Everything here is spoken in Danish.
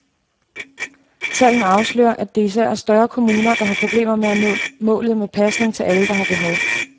Tallene afslører, at det især er større kommuner, der har problemer med at nå målet med pasning til alle, der har behov.